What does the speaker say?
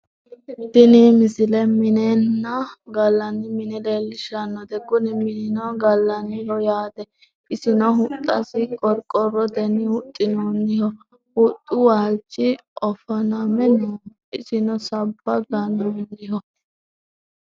tini misile minenna gallanni mine leellishshannote kuni minio gallanniho yaate isino huxxasi qorqorrotenni huxxinoonniho huxxu waalchi o faname nooho isino sabba gannoonniho